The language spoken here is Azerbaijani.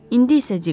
İndi isə Dik.